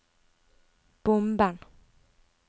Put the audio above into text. bomben